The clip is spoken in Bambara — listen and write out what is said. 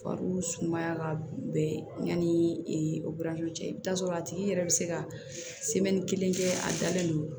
Fari sumaya ka bɛn yanni o buran cɛ i bi t'a sɔrɔ a tigi yɛrɛ be se ka kelen kɛ a dalen don